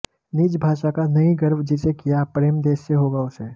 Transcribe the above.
निज भाषा का नहीं गर्व जिसे क्या प्रेम देश से होगा उसे